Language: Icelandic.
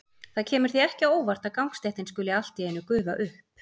Það kemur því ekki á óvart að gangstéttin skuli allt í einu gufa upp.